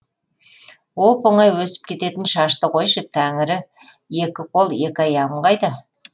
оп оңай өсіп кететін шашты қойшы тәңірі екі қол екі аяғым қайда